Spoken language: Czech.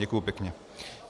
Děkuji pěkně.